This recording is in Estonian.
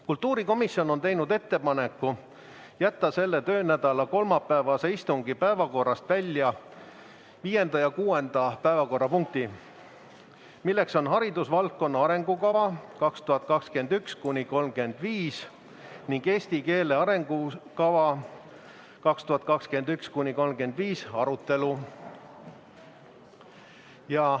Kultuurikomisjon on teinud ettepaneku jätta selle töönädala kolmapäevase istungi päevakorrast välja viies ja kuues päevakorrapunkt: "Haridusvaldkonna arengukava 2021–2035" ning "Eesti keele arengukava 2021–2035" arutelu.